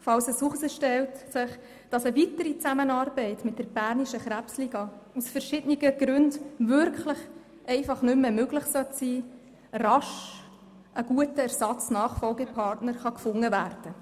falls sich herausstellt, dass eine weitere Zusammenarbeit mit der Bernischen Krebsliga aus verschiedenen Gründen wirklich einfach nicht mehr möglich sein sollte, rasch ein guter ErsatzNachfolgepartner gefunden werden kann.